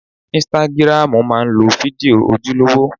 Ísítágírámù má ń lo fídíò ojúlówó